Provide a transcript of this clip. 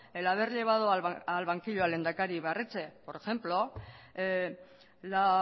el haber llevado al banquillo al lehendakari ibarretxe por ejemplo la